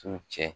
So cɛ